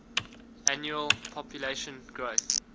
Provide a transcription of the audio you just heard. annual population growth